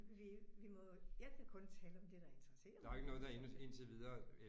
Vi vi må jo jeg kan kun tale om det der interesserer mig